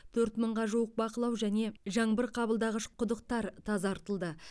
төрт мыңға жуық бақылау және жаңбыр қабылдағыш құдықтар тазартылды